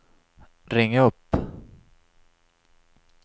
ring upp